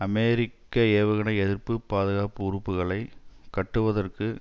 அமெரிக்க ஏவுகணை எதிர்ப்பு பாதுகாப்பு உறுப்புகளை கட்டுவதற்கு